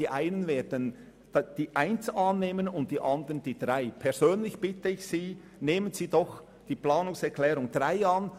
Die einen werden die Planungserklärung 1 annehmen und die anderen die Planungserklärung 3. Persönlich bitte ich Sie, nehmen Sie doch die Planungserklärung 3 an.